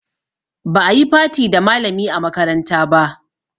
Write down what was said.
Ba a yi party da malami a makaranta ba